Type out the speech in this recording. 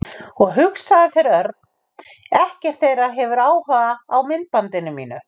Og hugsaðu þér, Örn. Ekkert þeirra hefur áhuga á myndbandinu mínu.